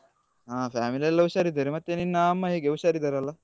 ಹ family ಎಲ್ಲ ಹುಷಾರಿದ್ದಾರೆ ಮತ್ತೆ ನಿನ್ನ ಅಮ್ಮ ಹೇಗೆ ಹುಷಾರಿದ್ದಾರಲ್ಲ?